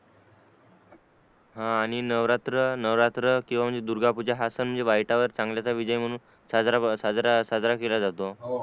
हा आणि नवरात्र नवरात्र किंवा दुर्गा पूजा हा सण म्हणजे वाईटावर चांगल्याच विजय म्हणून साजरा साजरा केला जातो